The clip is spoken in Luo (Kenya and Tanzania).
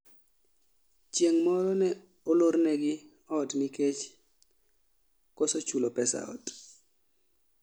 Chieng' moro ne olornegi ot nikech koso chulo pes ot